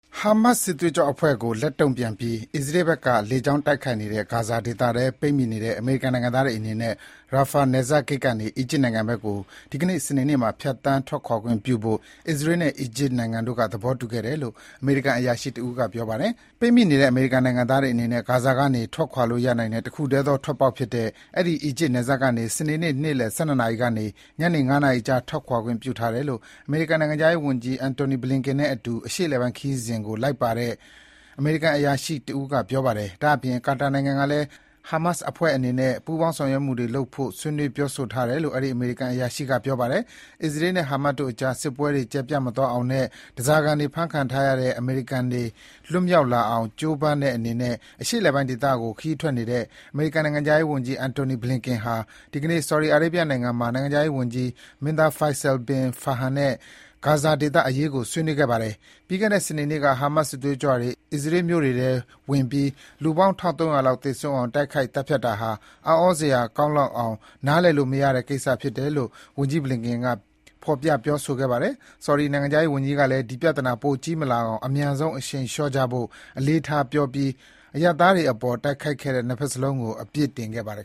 ဟာမတ် (Hamas) စစ်သွေးကြွအဖွဲ့ကို လက်တုံ့ပြန်ပြီး အစ္စရေးဘက်က လေကြောင်းတိုက်ခိုက်နေတဲ့ ဂါဇာဒေသထဲ ပိတ်မိနေတဲ့ အမေရိကန်နိုင်ငံသားတွေအနေနဲ့ Rafah နယ်စပ် ဂိတ်ကနေ အီဂျစ်နိုင်ငံဘက်ကို ဒီနေ့ စနေနေ့မှာ ဖြတ်သန်း ထွက်ခွာခွင့်ပြုဖို့ အစ္စရေးနဲ့ အီဂျစ်နိုင်ငံတို့ သဘောတူခဲ့တယ်လို့ အမေရိကန် အရာရှိတဦးက ပြောပါတယ်။ ပိတ်မိနေတဲ့ အမေရိကန်နိုင်ငံသားတွေအနေနဲ့ ဂါဇာကနေ ထွက်ခွာလို့ရနိုင်တဲ့ တခုတည်းသော ထွက်ပေါက်ဖြစ်တဲ့ အဲဒီ အီဂျစ်နယ်စပ်ကနေ စနေနေ့ နေ့လည် ၁၂ နာရီကနေ ညနေ ၅ နာရီအကြား ထွက်ခွာခွင့်ပြုထားမယ်လို့ အမေရိကန်နိုင်ငံခြားရေးဝန်ကြီး Antony Blinken နဲ့အတူ အရှေ့အလယ်ပိုင်းခရီးစဉ်ကို လိုက်ပါလာတဲ့ အမေရိကန်အရာရှိက ပြောပါတယ်။ ဒါ့အပြင် ကာတာနိုင်ငံကလည်း ဟာမတ်အဖွဲ့အနေနဲ့ ပူးပေါင်း ဆောင်ရွက်မှုတွေ လုပ်ဆောင်ဖို့ ဆွေးနွေး ပြောဆိုထားတယ်လို့ အဲဒီ အမေရိကန်အရာရှိက ပြောပါတယ်။ အစ္စရေးနဲ့ ဟာမတ်တို့ကြား စစ်ပွဲတွေ ကျယ်ပြန့် မသွားအောင်နဲ့ ဓါးစာခံဖမ်းခံထားရတဲ့ အမေရိကန်တွေ လွတ်မြောက်လာအောင်ကြိုးပမ်းတဲ့အနေနဲ့ အရှေ့အလယ်ပိုင်းဒေသကို ခရီးထွက်နေတဲ့ အမေရိကန်နိုင်ငံခြားရေးဝန်ကြီး Antony Blinken ဟာ ဒီနေ့ Saudi Arabia နိုင်ငံမှာ နိုင်ငံခြားရေးဝန်ကြီး မင်းသား Faisal Bin Farhan နဲ့ ဂါဇာဒေသအရေးကို ဆွေးနွေးခဲ့ပါတယ်။ ပြီးခဲ့တဲ့ စနေနေ့က Hamas စစ်သွေးကြွတွေ အစ္စရေးမြို့တွေထဲ ဝင်ပြီး လူပေါင်း ၁၃၀၀ လောက်သေဆုံးအောင် တိုက်ခိုက်သတ်ဖြစ်တာဟာ အံ့ဩစရာကောင်းလောက်အောင် နားလည်လို့မရတဲ့ကိစ္စဖြစ်တယ်လို့ ဝန်ကြီး Blinken ကဖော်ပြပြောဆိုခဲ့ပါတယ်။ Saudi နိုင်ငံခြားရေးဝန်ကြီးကလည်း ပြဿနာ ပိုကြီးမလာအောင် အမြန်ဆုံး အရှိန်လျော့ကြဖို့ အလေးထားပြောပြီး အရပ်သားတွေအပေါ် တိုက်ခိုက်တဲ့ ၂ ဘက်လုံးကို အပြစ်တင်ခဲ့ပါတယ်